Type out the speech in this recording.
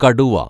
കടുവ